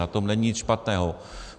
Na tom není nic špatného.